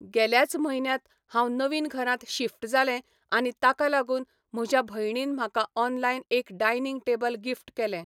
गेल्याच म्हयन्यांत हांव नवीन घरांत शिफ्ट जालें आनी ताका लागून म्हज्या भयणीन म्हाका ऑनलायन एक डायनींग टेबल गिफ्ट केलें.